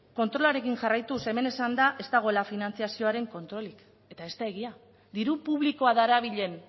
kontrolarekin jarraituz hemen esan da ez dagoela finantzazioaren kontrolik eta ez da egia diru publikoa darabilen